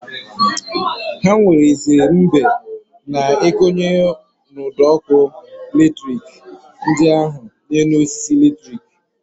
Ha werezie mbe na-ekonye ụd'ọkụ latrik ndị ahụ n'enu osisi latrik.